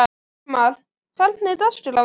Pálmar, hvernig er dagskráin í dag?